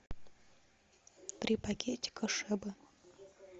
три пакетика шебы